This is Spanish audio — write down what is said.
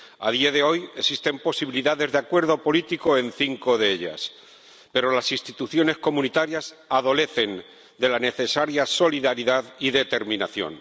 A día de hoy, existen posibilidades de acuerdo político en cinco de ellas, pero las instituciones comunitarias adolecen de la necesaria solidaridad y determinación.